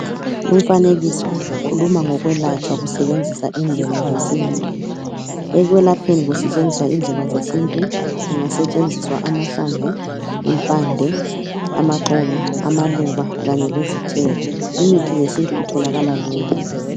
Lumfanekiso ukhuluma ngokwelatshwa kusebenziswa indlela zesintu, ekwelapheni kusetshenziswa indlela zesintu kungasetshenziswa amahlamvu, impande, amaxolo, amaluba kanye lezithelo, imithi yesintu itholakala lula.